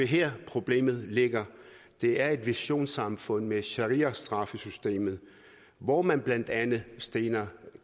her problemet ligger det er et visionssamfund med shariastraffesystemet hvor man blandt andet stener